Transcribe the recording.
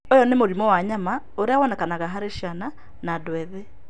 Ũyũ nĩ mũrimũ wa nyama ũrĩa wonekaga harĩ ciana na andũ ethĩ.